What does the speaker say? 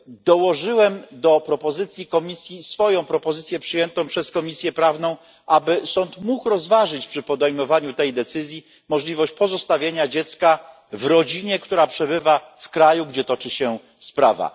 Dołożyłem do propozycji Komisji swoją propozycję, przyjętą przez Komisję Prawną, aby sąd mógł rozważyć przy podejmowaniu tej decyzji możliwość pozostawienia dziecka w rodzinie, która przebywa w kraju, gdzie toczy się sprawa.